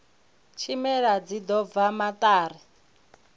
tshimela tshi ḓo bva maṱari